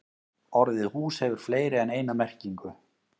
Orðið hús hefur fleiri en eina merkingu.